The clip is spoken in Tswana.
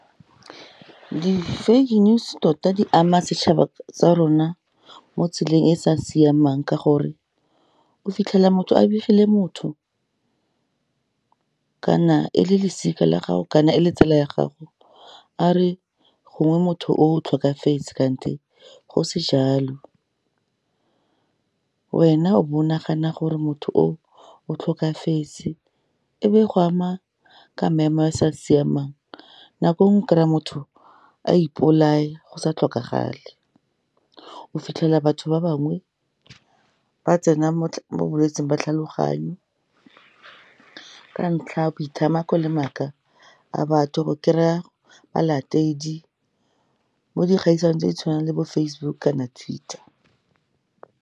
Di-fake news tota di ama setšhaba sa rona mo tseleng e sa siamang, ka gore o fitlhela motho a begile motho, kana e le losika la gago, kana e le tsala ya gago, a re gongwe motho o o tlhokafetse kante go se jalo, wena o bo nagana gore motho o o tlhokafetse, e be go ama ka maemo a sa siamang. Nako enngwe o kry-a motho a ipolaya go sa tlhokagale, o fitlhela batho ba bangwe ba tsena mo bolwetsing ba tlhaloganyo, ka ntlha ya boithamako le maaka a batho, go kry-a balatedi, mo dikgaisanong tse di tshwanang le bo Facebook kana Twitter.